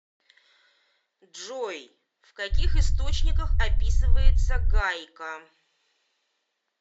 джой в каких источниках описывается гайка